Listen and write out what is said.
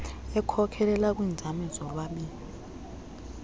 ekhokelela kwiinzame zolwabiwo